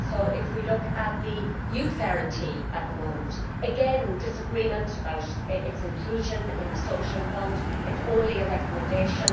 If we look at the Youth Guarantee at the moment, again there is disagreement about its inclusion in the Social Fund it is only a recommendation.